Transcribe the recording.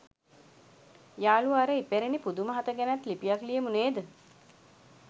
යාළුවා අර ඉපැරණි පුදුම හත ගැනත් ලිපියක් ලියමු නේද?